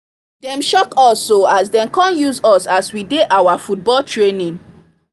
dem shock us o as dem come see us as we dey our football training